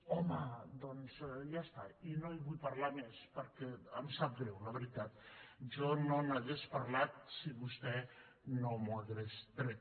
home doncs ja està i no en vull parlar més perquè em sap greu la veritat jo no n’hauria parlat si vostè no m’ho hagués tret